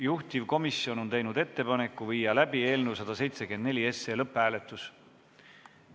Juhtivkomisjon on teinud ettepaneku viia läbi eelnõu 174 lõpphääletus.